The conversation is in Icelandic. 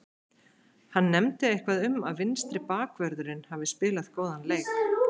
Hann nefndi eitthvað um að vinstri bakvörðurinn hafi spilað góðan leik.